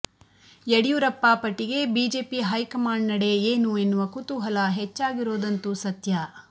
ಯಡಿಯೂರಪ್ಪ ಪಟ್ಟಿಗೆ BJP high command ನಡೆ ಏನು ಎನ್ನುವ ಕುತೂಹಲ ಹೆಚ್ಚಾಗಿರೋದಂತೂ ಸತ್ಯ